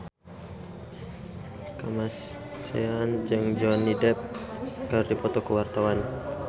Kamasean jeung Johnny Depp keur dipoto ku wartawan